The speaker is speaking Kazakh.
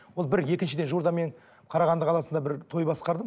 ол бір екіншіден жуырда мен қарағанды қаласында бір той басқардым